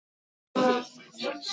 Sú kona er ekki tigin.